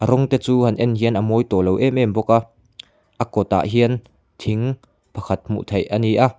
kawng te chu han en hian a mawi tawhlo em em bawk a a kawt ah hian thing pakhat hmuh theih ani a.